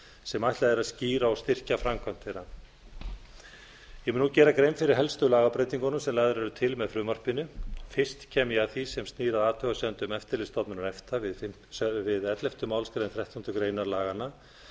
sem ætlað er að skýra og styrkja framkvæmd þeirra ég mun nú gera grein fyrir helstu lagabreytingunum sem lagðar eru til með frumvarpinu fyrst kem ég að því sem snýr að athugasemdum eftirlitsstofnunar efta við ellefta málsgreinar þrettándu greinar laganna